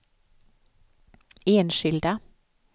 enskilda